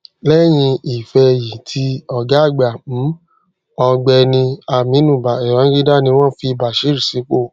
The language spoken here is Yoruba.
lẹyìn ìfẹyìti ọgá àgbà um ọgbẹni aminu babangida ni wón fi bashirs sípò